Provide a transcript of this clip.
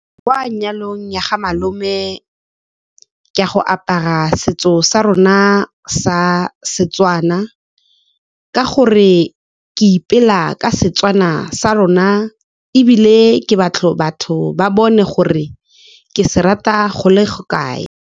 Kwa nyalong ya ga malome, ke a go apara setso sa rona sa Setswana ka gore ke ipela ka Setswana sa rona, ebile ke batla batho ba bone gore ke se rata go le kae.